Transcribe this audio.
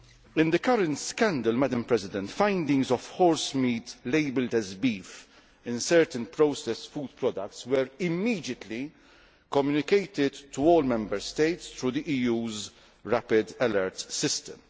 In the current scandal, findings of horsemeat labelled as beef in certain processed food products were immediately communicated to all Member States through the EU's Rapid Alert System.